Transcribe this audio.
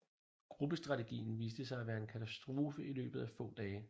Gruppestrategien viste sig at være en katastrofe i løbet af få dage